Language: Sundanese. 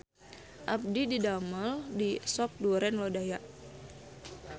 Abdi didamel di Sop Duren Lodaya